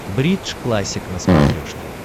бридж классик на смотрешке